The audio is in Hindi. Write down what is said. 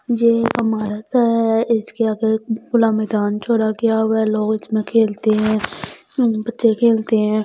ये अमारत है इसके आगे खुला मैदान छोड़ा गया हुआ है लॉज में खेलते हैं बच्चे खेलते हैं।